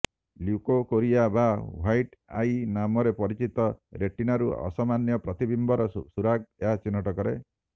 leukocoria ବା white eye ନାମରେ ପରିଚିତ ରେଟିନାରୁ ଅସାମାନ୍ୟ ପ୍ରତିବିମ୍ବର ସୁରାଗ ଏହା ଚିହ୍ନଟ କରେ